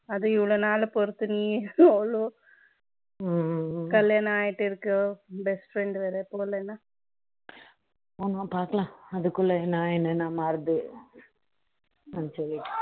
அதுவும் இவ்வளவு நாள் பொருத்த நீ எவ்வளவு கல்யாணம் ஆயிட்டு இருக்கும் best friend வேற போலநா ஆமாம் பார்க்கலாம் அதுக்குள்ள என்ன என்ன மாறுது சொல்லிட்டு